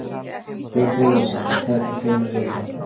Björn Þorláksson: Og hvernig steinar eru þetta?